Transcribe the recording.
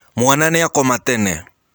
Mwana nĩakoma tene.